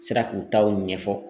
Sera k'u taw ɲɛfɔ.